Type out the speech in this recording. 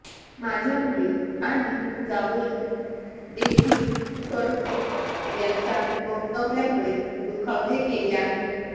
माझ्या मुली आणि जावई देखील कडू यांच्या वक्तव्यामुळे दुखावले गेले आहेत